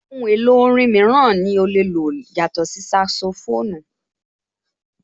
Ohun èlò orin mìíràn ní o lè lò yàtọ̀ sí saxophone?